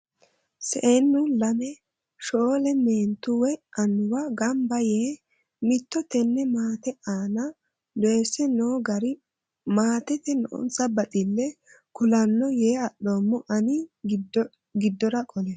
Seennu lame shoole meentu woyi amuwu gamba yee mitto tene maate anna doyise no gari maatete noonsa baxile kulanoho yee adhoommo ani giddora qole.